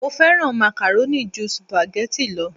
Mo fẹ́ràn macaroni ju spaghetti lo